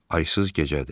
Aysız gecədir.